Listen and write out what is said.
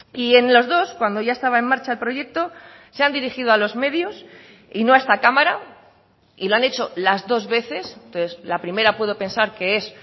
y en los dos cuando ya estaba en marcha el proyecto se han dirigido a los medios y no a esta cámara y lo han hecho las dos veces entonces la primera puedo pensar que es